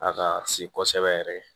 A ka si kosɛbɛ yɛrɛ